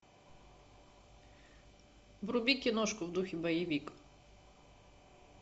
вруби киношку в духе боевик